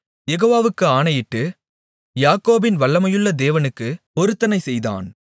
யெகோவாவுக்கு ஆணையிட்டு யாக்கோபின் வல்லமையுள்ள தேவனுக்குப் பொருத்தனை செய்தான்